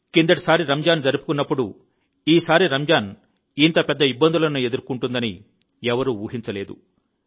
చివరిసారి రంజాన్ జరుపుకున్నప్పుడు ఈసారి రంజాన్ ఇంత పెద్ద ఇబ్బందులను ఎదుర్కొంటుందని ఎవరూ ఊహించలేదు